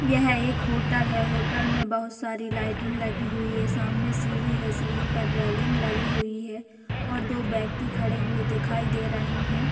यह एक होटल है होटल में बहुत सारी लइटिंगं लगी हुई है सामने सीढ़ी है सीढ़ी पे रेलिंग लगी हुई है और दो व्यक्ति खड़े हुए दिखाय दे रहे हैं।